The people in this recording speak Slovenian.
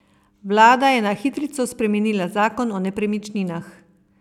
Vlada je na hitrico spremenila zakon o nepremičninah.